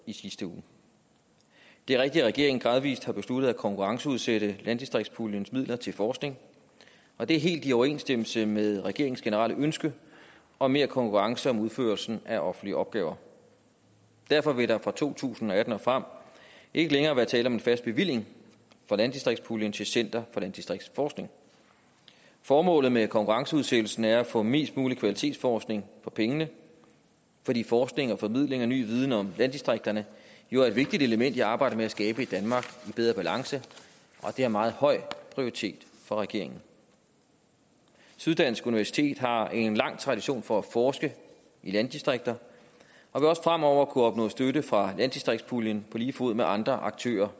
i sidste uge det er rigtigt at regeringen gradvist har besluttet at konkurrenceudsætte landdistriktspuljens midler til forskning og det er helt i overensstemmelse med regeringens generelle ønske om mere konkurrence om udførelsen af offentlige opgaver derfor vil der fra to tusind og atten og frem ikke længere være tale om en fast bevilling fra landdistriktspuljen til center for landdistriktsforskning formålet med konkurrenceudsættelsen er at få mest mulig kvalitetsforskning for pengene fordi forskning formidling og ny viden om landdistrikterne jo er vigtige elementer i arbejdet med at skabe et danmark i bedre balance og det har meget høj prioritet for regeringen syddansk universitet har en lang tradition for at forske i landdistrikter og vil også fremover kunne opnå støtte fra landdistriktspuljen på lige fod med andre aktører